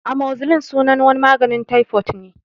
Amozicilin sunan wani maganin taifot ne